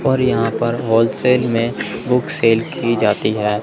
और यहां पर होल सेल में बुक सेल की जाती है।